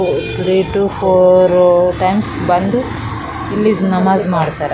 Three two four times ಬಂದು ಇಲ್ಲಿ ನಮಾಜ್ ಮಾಡ್ತಾರ .